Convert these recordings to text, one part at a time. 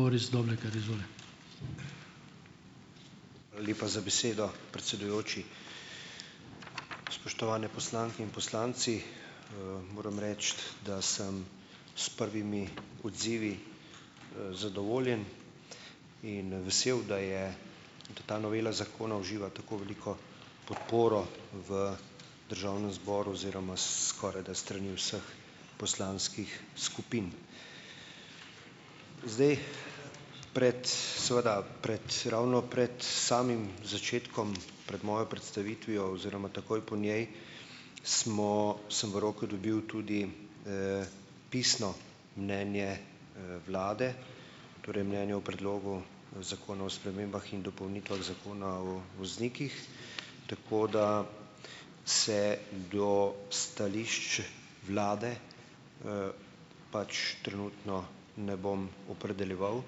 Hvala lepa za besedo, predsedujoči. Spoštovane poslanke in poslanci! Moram reči, da sem s prvimi odzivi, zadovoljen in vesel, da je da ta novela zakona uživa tako veliko podporo v državnem zboru oziroma skorajda s strani vseh poslanskih skupin. Zdaj, pred seveda pred ravno pred samim začetkom, pred mojo predstavitvijo oziroma takoj po njej smo sem v roko dobil tudi, pisno mnenje, vlade, torej mnenje o Predlogu zakona o spremembah in dopolnitvah Zakona o voznikih, tako da se do stališč vlade, pač trenutno ne bom opredeljeval,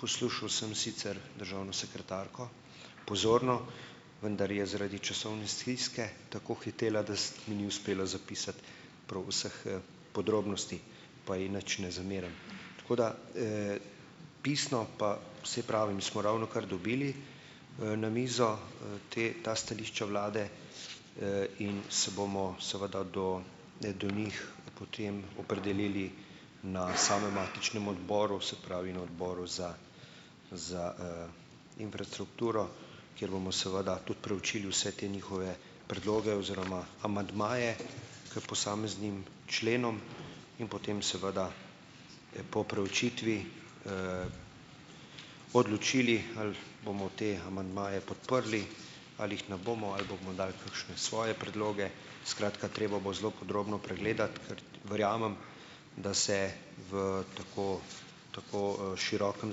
poslušal sem sicer državno sekretarko pozorno, vendar je zaradi časovne stiske tako hitela, da mi ni uspelo zapisati prav vseh, podrobnosti, pa ji nič ne zamerim. Tako da, Pisno pa, saj pravim, smo ravnokar dobili na mizo ta stališča vlade, in se bomo seveda do, ne, do njih potem opredelili na samem matičnem odboru, se pravi na Odboru za za, infrastrukturo, kjer bomo seveda tudi preučili vse te njihove predloge oziroma amandmaje k posameznim členom, in potem seveda po preučitvi odločili, ali bomo te amandmaje podprli ali jih ne bomo ali bomo dali kakšne svoje predloge, skratka, treba bo zelo podrobno pregledati, ker verjamem, da se v tako, tako, širokem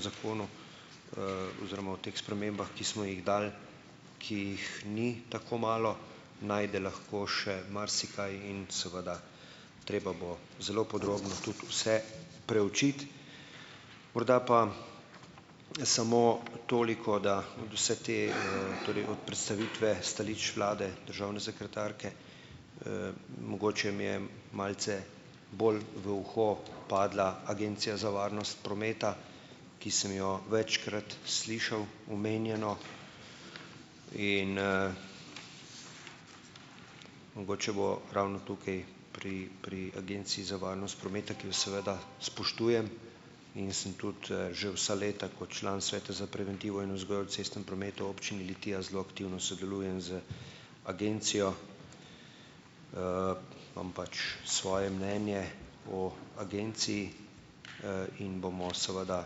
zakonu, oziroma o teh spremembah, ki smo jih dali, ki jih ni tako malo, najde lahko še marsikaj in seveda treba bo zelo podrobno tudi vse preučiti. Morda pa samo toliko, da od vse te, torej od predstavitve stališč vlade, državne sekretarke, mogoče mi je malce bolj v uho padla Agencija za varnost prometa, ki sem jo večkrat slišal omenjeno in, mogoče bo ravno tukaj pri pri agenciji za varnost prometa, ki jo seveda spoštujem, in sem tudi, že vsa leta kot član Sveta za preventivo in vzgojo v cestnem prometu v občini Litija zelo aktivno sodelujem z agencijo, imam pač svoje mnenje o agenciji, in bomo seveda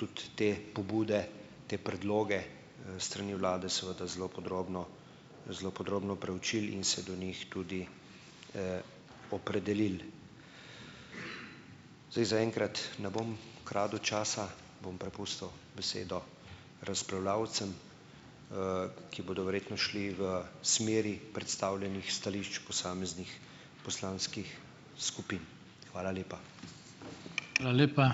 tudi te pobude, te predloge, s strani vlade seveda zelo podrobno, zelo podrobno proučili in se do njih tudi, opredelili. Zdaj, zaenkrat ne bom kradel časa, bom prepustil besedo razpravljavcem, ki bodo verjetno šli v smeri predstavljenih stališč posameznih poslanskih skupin. Hvala lepa.